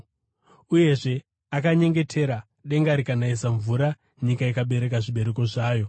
Uyezve, akanyengetera, denga rikanayisa mvura, nyika ikabereka zvibereko zvayo.